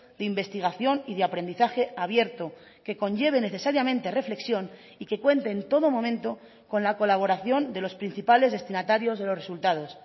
de investigación y de aprendizaje abierto que conlleve necesariamente reflexión y que cuente en todo momento con la colaboración de los principales destinatarios de los resultados